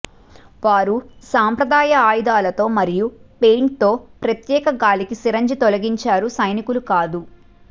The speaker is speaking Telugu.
వారు సంప్రదాయ ఆయుధాలతో మరియు పెయింట్ తో ప్రత్యేక గాలికి సిరంజి తొలగించారు సైనికులు కాదు